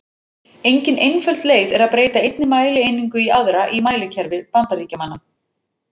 Engin einföld leið er að breyta einni mælieiningu í aðra í mælikerfi Bandaríkjamanna.